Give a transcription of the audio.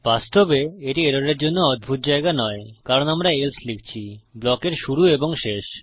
বাস্তবে এটি এররের জন্য অদ্ভুত জায়গা নয় কারণ আমরা এলসে লিখছি ব্লকের শুরু এবং শেষ